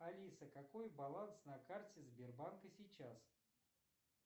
алиса какой баланс на карте сбербанка сейчас